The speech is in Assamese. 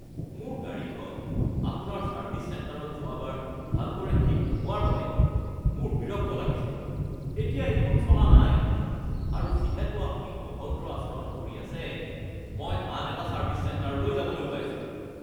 মোৰ গাড়ীখন আপোনাৰ ছাৰ্ভিছ চেণ্টাৰত যোৱাবাৰ ভালদৰে ঠিক নোহোৱাৰ বাবে মোৰ বিৰক্ত লাগিছে। এইখন এতিয়া চলা নাই আৰু যিহেতু আপুনি অভদ্ৰ আচৰণ কৰি আছে, মই আন এটা ছাৰ্ভিছ চেণ্টাৰলৈ যাবলৈ ওলাইছোঁ। (গ্ৰাহক)